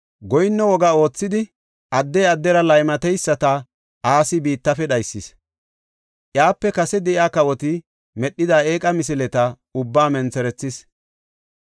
Goyinno woga oothidi addey addera laymatesata Asi biittafe dhaysis. Iyape kase de7iya kawoti medhida eeqa misileta ubbaa mentherethis.